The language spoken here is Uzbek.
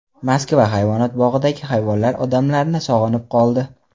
Moskva hayvonot bog‘idagi hayvonlar odamlarni sog‘inib qoldi.